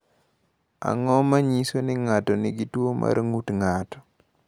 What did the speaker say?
Ang’o ma nyiso ni ng’ato nigi tuwo mar ng’ut ng’ato?